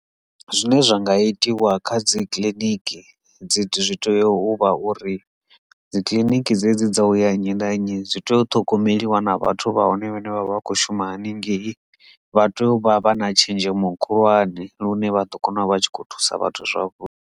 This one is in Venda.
Zwine zwa nga itiwa kha dzi kiliniki dzi tea uvha uri dzi kiḽiniki dze dzi dza uya nnyi na nnyi zwi tea u ṱhogomeliwa na vhathu vha hone vhane vha vha vha kho shuma haningei vha tea u vha vha na tshenzhemo khulwane lune vhaḓo kona u vha tshi khou thusa vhathu zwavhuḓi.